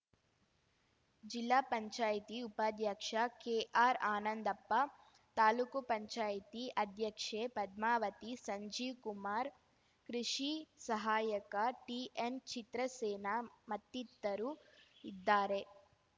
ಜಿಲ್ಲಾಪಂಚಾಯ್ತಿ ಉಪಾಧ್ಯಕ್ಷ ಕೆಆರ್ ಆನಂದಪ್ಪ ತಾಲೂಕುಪಂಚಾಯ್ತಿ ಅಧ್ಯಕ್ಷೆ ಪದ್ಮಾವತಿ ಸಂಜೀವ್‌ಕುಮಾರ್ ಕೃಷಿ ಸಹಾಯಕ ಟಿಎನ್‌ಚಿತ್ರಸೇನ ಮತ್ತಿತರು ಇದ್ದಾರೆ